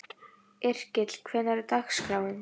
Yrkill, hvernig er dagskráin?